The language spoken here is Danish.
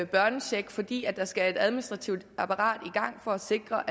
børnecheck fordi der skal et administrativt apparat i gang for at sikre